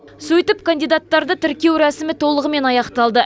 сөйтіп кандидаттарды тіркеу рәсімі толығымен аяқталды